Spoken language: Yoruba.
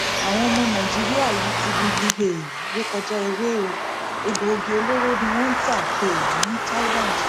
àwọn ọmọ nàìjíríà yìí ti gungi um ré kọjá ewé o egbòogi olóró ni wọn ń tà um ní thailand